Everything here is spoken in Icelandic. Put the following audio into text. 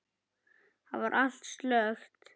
Þar var allt slökkt.